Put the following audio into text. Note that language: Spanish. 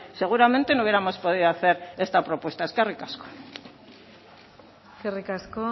seguramente no hubiéramos podido hacer esta propuesta eskerrik asko eskerrik asko